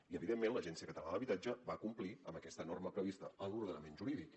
i evidentment l’agència catalana de l’habitatge va complir amb aquesta norma prevista en l’ordenament jurídic